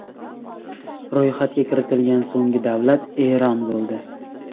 Ro‘yxatga kiritilgan so‘nggi davlat Eron bo‘ldi.